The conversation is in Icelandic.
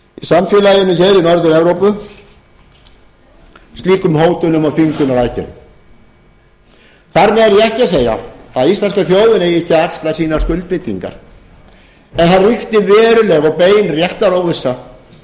samfélaginu í norður evrópu slíkum hótunum og þvingunaraðgerðum þar með er ég ekki að segja að íslenska þjóðin eigi ekki að axla sínar skuldbindingar það er uppi veruleg og bein réttaróvissa